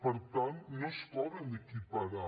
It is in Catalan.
per tant no es poden equiparar